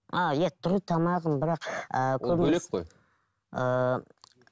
а иә тұру тамағың бірақ ыыы